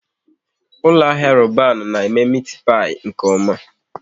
Ụlọ ahịa Roban na eme meti pai nke oma